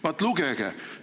Vaat, lugege!